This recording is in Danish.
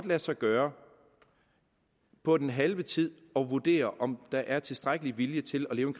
lade sig gøre på den halve tid at vurdere om der er tilstrækkelig vilje til at leve